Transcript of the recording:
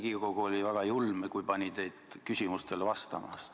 Riigikogu oli väga julm, kui pani teid küsimustele vastama.